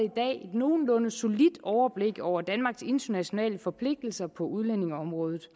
nogenlunde solidt overblik over danmarks internationale forpligtelser på udlændingeområdet